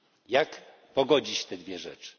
Jak pogodzić te dwie rzeczy?